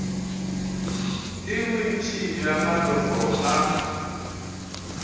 ke bontši bja maloko a